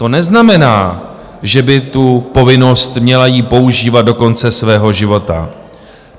To neznamená, že by tu povinnost měla ji používat do konce svého života.